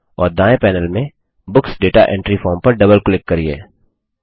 और दायें पैनेल में बुक्स दाता एंट्री फॉर्म पर डबल क्लिक करिये